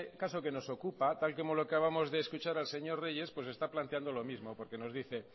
caso que nos ocupa tal y como le acabamos de escuchar al señor reyes está planteando lo mismo porque nos dice